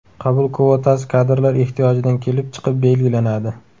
Qabul kvotasi kadrlar ehtiyojidan kelib chiqib belgilanadi.